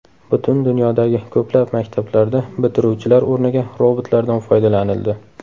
Butun dunyodagi ko‘plab maktablarda bitiruvchilar o‘rniga robotlardan foydalanildi.